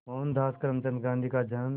मोहनदास करमचंद गांधी का जन्म